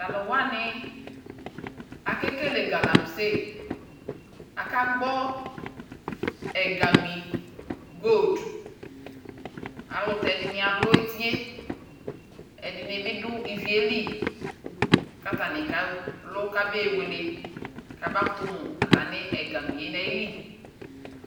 Tʋ alʋ wanɩ akekele galanse Agakpɔ ɛgami god Alʋtɛ dɩnɩ alʋ eti yɛ Ɛdɩnɩ bɩ dʋ ivi yɛ li kʋ atanɩ kalʋ abaɣa ewele kabakʋtʋmʋ atamɩ ɛgami yɛ nʋ ayili